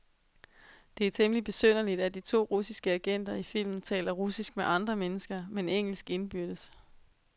Det er temmeligt besynderligt, at de to russiske agenter i filmen taler russisk med andre mennesker, men engelsk indbyrdes.